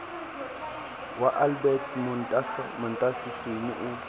wa albert montasi sweni o